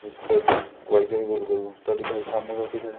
गोल गोल घूमता दिखाई सामने काफी सारे।